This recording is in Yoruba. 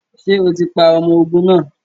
Ṣe o ti pa ọmọ ogun naa!?